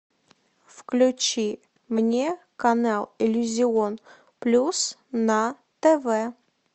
включи мне канал иллюзион плюс на тв